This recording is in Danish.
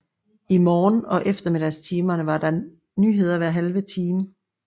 I morgen og eftermiddagstimerne var der nyheder hver halve time